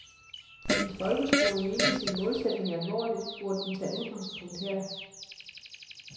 Hvis folkeskolen mente sin målsætning alvorligt, burde den tage udgangspunkt der.